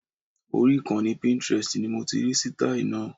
Orí ìkànnì Pintrest ni mo ti rí sítáì náà